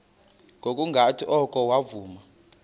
ngokungathi oko wavuma